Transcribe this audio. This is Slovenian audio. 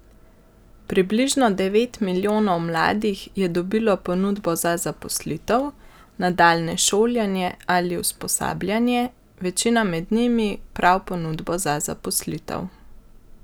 Približno devet milijonov mladih je dobilo ponudbo za zaposlitev, nadaljnje šolanje ali usposabljanje, večina med njimi prav ponudbo za zaposlitev.